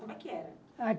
Como é que era?